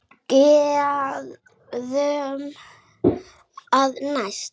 Gerum það næst.